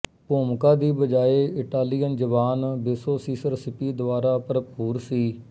ਭੂਮਿਕਾ ਦੀ ਬਜਾਏ ਇਟਾਲੀਅਨ ਜਵਾਨ ਬੇਸੋ ਸੀਸਰ ਸਿਪੀ ਦੁਆਰਾ ਭਰਪੂਰ ਸੀ